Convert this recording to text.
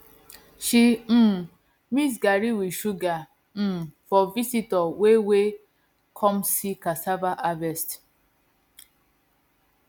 she um mix garri with sugar um for visitor wey wey come see cassava harvest